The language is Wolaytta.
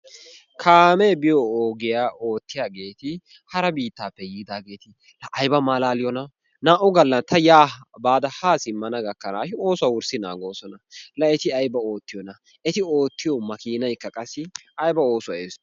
Kaamee biyoo ogiyaa oottiyaageti hara biittaape yiidaageti la ayba malaaliyoona! Naa"u gaalla ta yaa baada haa simmana gaakkanaashin oossuwaa wurssi naagoosona. La eti ayba oottiyoona! eti oottiyoo maakkinaaykka qassi ayba oosuwaa eesoyii!